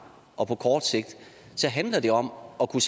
og på kort sigt så handler det om at kunne